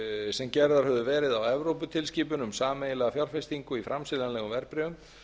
sem gerðar höfðu verið á evróputilskipun um sameiginlega fjárfestingu í framseljanlegum verðbréfum